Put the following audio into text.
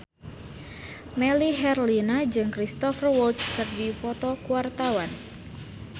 Melly Herlina jeung Cristhoper Waltz keur dipoto ku wartawan